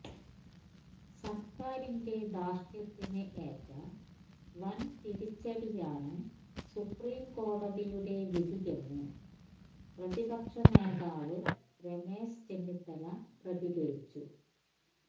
സര്ക്കാരിന്റെ ധാര്ഷ്ട്യത്തിന് ഏറ്റ വന്തിരിച്ചടിയാണ് സുപ്രീം കോടതിയുടെ വിധിയെന്ന് പ്രതിപക്ഷ നേതാവ് രമേശ് ചെന്നിത്തല പ്രതികരിച്ചു